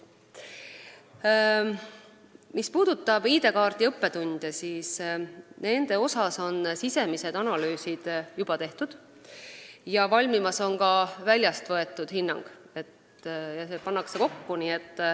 Mis puudutab ID-kaardi õppetunde, siis nende kohta on sisemised analüüsid juba tehtud ja valmimas on ka väljast võetud hinnang.